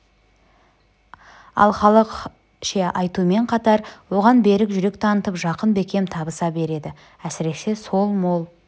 ал халық ше айтумен қатар оған берік жүрек танытып жақын бекем табыса береді әсіресе сол мол